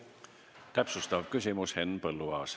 Täpsustav küsimus Henn Põlluaasalt.